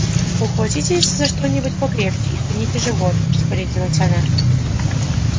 ухватитесь за что-нибудь покрепче и втяните живот распорядилась она